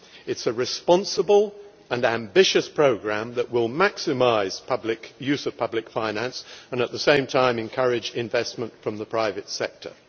It is a responsible and ambitious programme that will maximise use of public finance and, at the same time, encourage investment from the private sector.